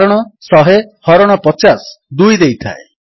କାରଣ 100 ହରଣ 50 2 ଦେଇଥାଏ